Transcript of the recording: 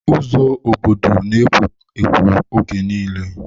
Ụzọ obodo na-ekwo ekwo oge nille.